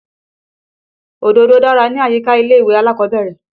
Òdòdó dára ni àyíká ilé-ìwé alákọ̀ọ́bẹ́rẹ́.